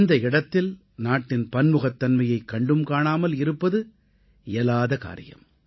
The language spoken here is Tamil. இந்த இடத்தில் நாட்டின் பன்முகத்தன்மையைக் கண்டும் காணாமல் இருப்பது இயலாத காரியம்